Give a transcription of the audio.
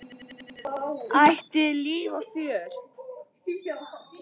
Ætíð líf og fjör.